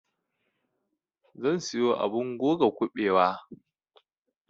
zan siyo abun goga kuɓewa